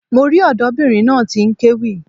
Mo rí ọ̀dọ́bìnrin náà tí n kéwì